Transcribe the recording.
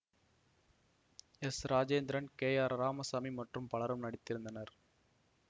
S Rajendran K R Ramasamy மற்றும் பலரும் நடித்திருந்தனர்